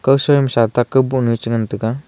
asam sa kawboh nu a che ngan taiga.